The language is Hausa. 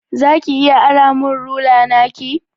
Za ki iya ara min rula naki?